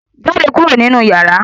Jáde kúrò nínú yàrá!